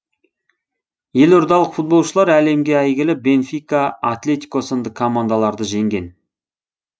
елордалық футболшылар әлемгі әйгілі бенфика атлетико сынды командаларды жеңген